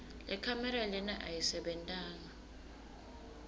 lekhamera lena ayisebentanga